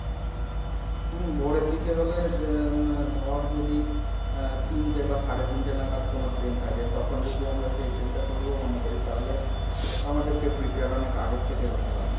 হম ভোরের দিকে হলে ধর যদি আহ তিনটে বা সাড়ে তিনটে নাগাদ কোনো train থাকে তখন যদি আমরা সেই train টা ধরবো মনে করি তাহলে আমাদেরকে prepare অনেক আগে থেকেই হতে হবে।